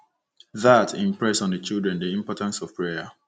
That impressed on the children the importance of prayer.